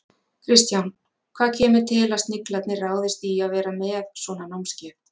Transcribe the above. Kristján, hvað kemur til að Sniglarnir ráðist í að vera með svona námskeið?